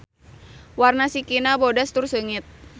Warna sikina bodas tur seungit.